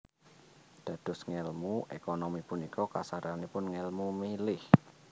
Dados ngèlmu ékonomi punika kasaranipun ngèlmu milih